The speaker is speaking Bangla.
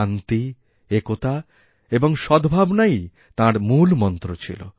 শান্তি একতা এবং সদ্ভাবনাই তাঁর মূল মন্ত্রছিল